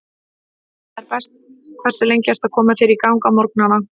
Heima er best Hversu lengi ertu að koma þér í gang á morgnanna?